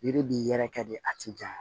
Yiri b'i yɛrɛ kɛ de a ti janya